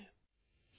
audio